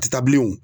A tɛ taa bilen wo